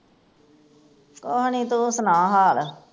ਕੁਛ ਨੀ ਤੂੰ ਸੁਣਾ ਹਾਲ